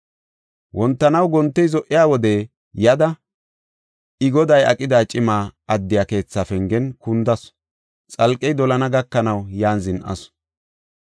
Wontanaw gontey zo77iya wode yada, I goday aqida cima addiya keethaa pengen kundasu; xalqey dolana gakanaw yan zin7asu.